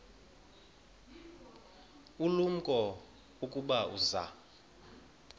ulumko ukuba uza